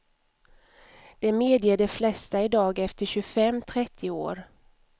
Det medger de flesta i dag efter tjugofem, trettio år.